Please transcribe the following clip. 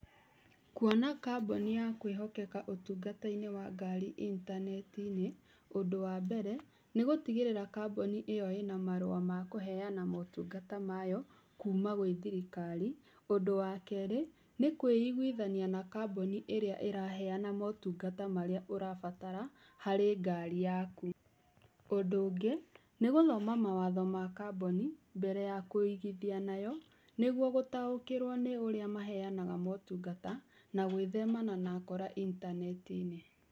Kuona kambuni ya kwĩhokeka ũtungata-inĩ wa ngari intaneti-inĩ, ũndũ wa mbere, nĩ gũtigĩrĩra kambuni ĩyo ĩna marũa makũheana motungata mayo kuma gwĩ thirikari, ũndũ wa kerĩ nĩ kwĩiguithania na kambuni ĩrĩa ĩraheana motungata marĩa ũrabatara harĩ ngari yaku. Ũndũ ũngĩ, nĩ gũthoma mawatho ma kambuni mbere ya kũigithia nayo, nĩguo gũtaũkĩrwo nĩ ũrĩa maheanaga motungata, na gwĩthemana na akora intaneti-inĩ.